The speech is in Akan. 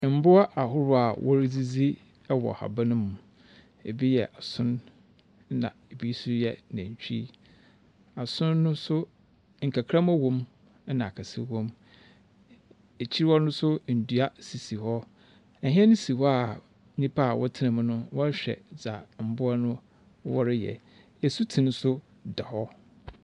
Mboa ahorow a woridzidzi wɔ haban mu. Bi yɛ son, na bi nso yɛ nantwi. Ason no nso, nkakramba wɔ mu, na akɛse wɔ mu. Ekyir hɔ no nso, ndua sisi hɔ. Hyɛn si hɔ a nnipa a wɔtsena mu no wɔrehwɛ dza mboa no wɔreyɛ. Asutsen nso da hɔ.